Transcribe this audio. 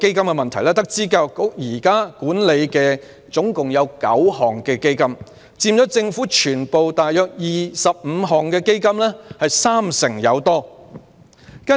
教育局現時共管理9個基金，佔政府約25個基金三成多。